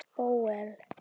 Bóel